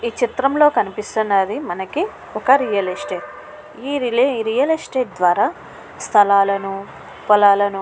ఈ చిత్రంలో కనిపిస్తున్నది మనకి ఒక రియల్ ఎస్టేట్. ఈ రియల్ ఎస్టేట్ ద్వారా స్థలాలను పొలాలను--